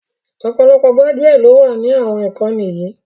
Ọ̀pọ̀lọpọ̀ gbájúẹ̀ lọ wà ní àwọn ìkànnì yìí